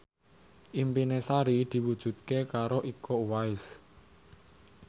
impine Sari diwujudke karo Iko Uwais